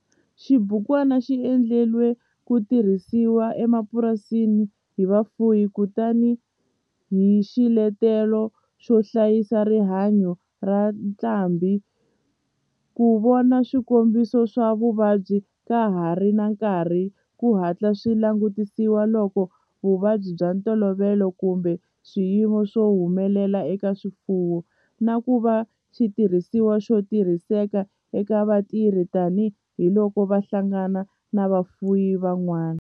Xibukwana xi endliwe ku tirhisiwa emapurasini hi vafuwi tani hi xiletelo xo hlayisa rihanyo ra ntlhambhi, ku vona swikombiso swa vuvabyi ka ha ri na nkarhi ku hatla swi langutisiwa loko vuvabyi bya ntolovelo kumbe swiyimo swi humelela eka swifuwo, na ku va xitirhisiwa xo tirhiseka eka vatirhi tani hi loko va hlangana na vafuwi van'wana.